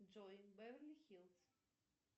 джой беверли хилз